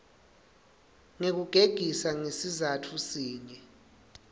ngekugegisa ngesizatfu sinye